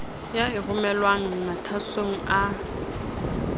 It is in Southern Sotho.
ya e romelwang mathwasong a